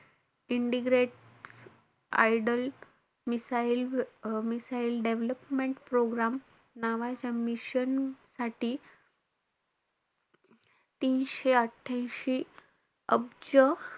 integrate idol missile-missile development program नावाच्या mission साठी तीनशे अठ्ठयांशी अब्ज,